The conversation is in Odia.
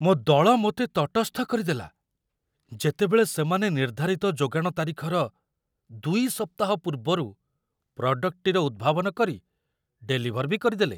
ମୋ ଦଳ ମୋତେ ତଟସ୍ଥ କରିଦେଲା, ଯେତେବେଳେ ସେମାନେ ନିର୍ଦ୍ଧାରିତ ଯୋଗାଣ ତାରିଖର ୨ ସପ୍ତାହ ପୂର୍ବରୁ ପ୍ରଡ଼କ୍ଟଟିର ଉଦ୍ଭାବନ କରି ଡେଲିଭର ବି କରିଦେଲେ।